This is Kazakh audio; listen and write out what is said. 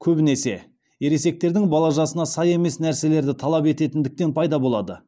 көбінесе ересектердің бала жасына сай емес нәрселерді талап ететіндіктен пайда болады